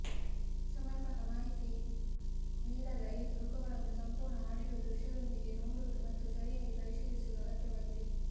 ಸಮರ್ಪಕ ಮಾಹಿತಿ ನೀಡದ ಈ ತುಣುಕುಗಳನ್ನು ಸಂಪೂರ್ಣ ಆಡಿಯೋ ದೃಶ್ಯದೊಂದಿಗೆ ನೋಡುವುದು ಮತ್ತು ಸರಿಯಾಗಿ ಪರಿಶೀಲಿಸುವುದು ಅಗತ್ಯವಾಗಿದೆ